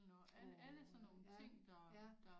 Åh ja ja